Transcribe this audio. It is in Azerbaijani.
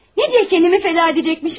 Nəyə görə özümü fəda edəcəkmişəm?